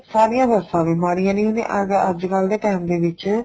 ਸਾਰੀਆਂ ਸੱਸਾ ਵੀ ਮਾੜੀਆਂ ਨੀ ਹੁੰਦੀਆਂ ਅੱਜਕਲ ਦੇ time ਦੇ ਵਿੱਚ